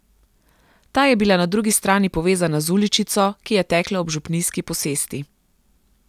Ta je bila na drugi strani povezana z uličico, ki je tekla ob župnijski posesti.